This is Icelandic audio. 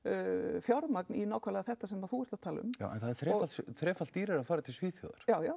fjármagn eyrnamerkt í nákvæmlega þetta sem þú ert að tala um já en það er þrefalt þrefalt dýrara að fara til Svíþjóðar já já